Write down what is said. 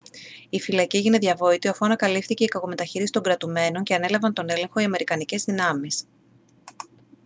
η φυλακή έγινε διαβόητη αφού ανακαλύφθηκε η κακομεταχείριση των κρατουμένων και ανέλαβαν τον έλεγχο οι αμερικανικές δυνάμεις